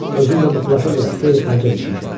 Özüm də bu plaşa görə xeyli xərcə düşmüşəm.